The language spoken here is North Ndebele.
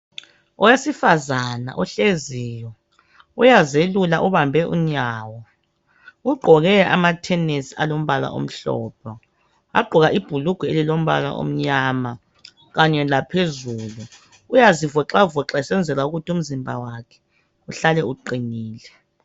owesifazana ohleziyo uyazelula ubambe unyawo ugqoke amathenesi alombala omhlophe wagqoka ibhulugwa elilombala omnyama kanye laphezulu uyazivoxacoxa esenzela ukuthi umzimba wakhe uhlale uqinile